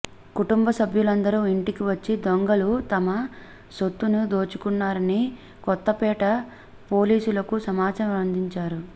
కుటుంబ సభ్యులందరూ ఇంటకి వచ్చి దొంగలు తమ సొత్తుని దోచుకున్నారని కొత్తపేట పో లీసులకు సమాచారం అందించారు